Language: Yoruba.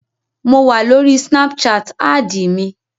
Mo wà lórí snapchat, ádìì mi